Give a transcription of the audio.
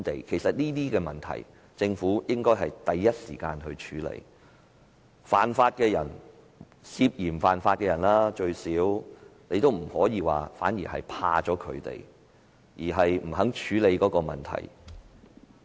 其實，政府應該第一時間處理這些問題，不可以因害怕犯法的人——最少是涉嫌犯法的人——而不肯處理問題。